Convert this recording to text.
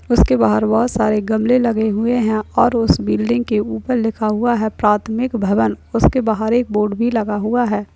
उसके बाहर बहुत सारे गमले लगे हुए हैं और उस बिल्डिंग के ऊपर लिखा हुआ है प्राथमिक भवन उसके बाहर एक बोर्ड भी लिखा हुआ है।